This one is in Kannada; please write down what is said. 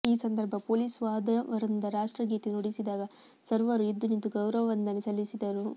ಈ ಸಂದರ್ಭ ಪೊಲೀಸ್ ವಾದ್ಯವೃಂದ ರಾಷ್ಟ್ರಗೀತೆ ನುಡಿಸಿದಾಗ ಸರ್ವರೂ ಎದ್ದುನಿಂತು ಗೌರವ ವಂದನೆ ಸಲ್ಲಿಸಿದರು